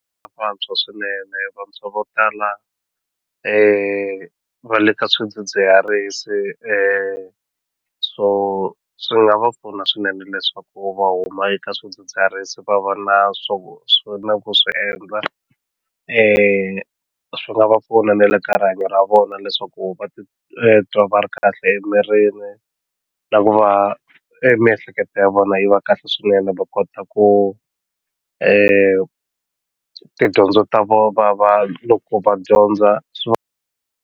Vantshwa swinene vantshwa vo tala va le ka swidzidziharisi so swi nga va pfuna swinene leswaku va huma eka swidzidziharisi va va na swo swo na ku swi endla swi nga va pfuna na le ka rihanyo ra vona leswaku va titwa va ri kahle emirini na ku va miehleketo ya vona yi va kahle swinene va kota ku tidyondzo ta vona va loko va dyondza swi.